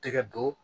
Tɛgɛ don